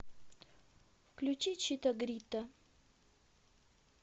включи чито грито